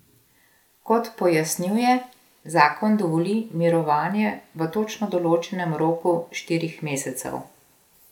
Kot pojasnjuje, zakon dovoli mirovanje v točno določenem roku štirih mesecev.